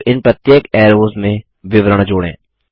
अब इन प्रत्येक ऐरोज़ में विवरण जोड़ें